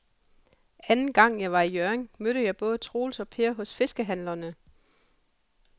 Anden gang jeg var i Hjørring, mødte jeg både Troels og Per hos fiskehandlerne.